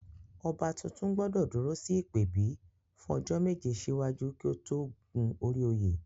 Ọba tuntun gbọ́dọ̀ dúró sí ìpèbí fún ọjọ́ méje síwájú kí ó tó gun orí oyè